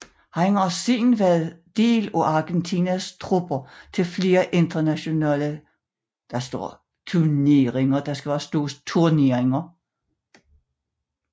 Han har siden været del af Argentinas trupper til flere internationale tuneringer